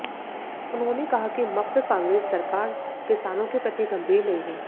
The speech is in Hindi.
उन्होंने कहा कि मप्र कांग्रेस सरकार किसानों के प्रति गंभीर नहीं है